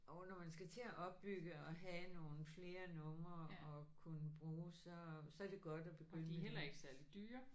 Og når man skal til at opbygge og have nogle flere numre at kunne bruge så så er det godt at begynde med det